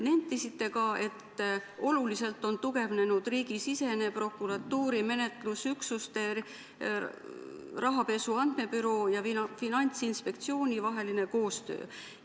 Nentisite ka, et oluliselt on tugevnenud riigisisene, prokuratuuri, menetlusüksuste, rahapesu andmebüroo ja Finantsinspektsiooni vaheline koostöö.